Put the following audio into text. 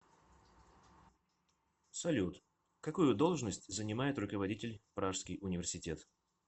салют какую должность занимает руководитель пражский университет